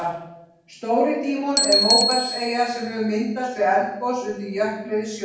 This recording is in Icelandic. Stóri-Dímon er móbergseyja sem hefur myndast við eldgos undir jökli eða í sjó.